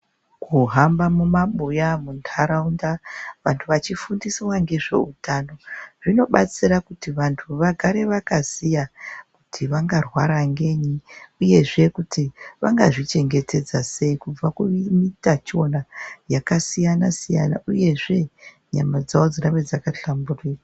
Kuhamba mumabuya muntaraunda vanthu vachifundiswa ngezveutano, zvinobatsira kuti vanthu vagare vakaziya kuti vangarwara ngenyi. Uyezve kuti vangazvichengetedza sei kubva kuutachiona yakasiyana siyana, uyezve nyama dzawo dzirambe dzakahlamburuka.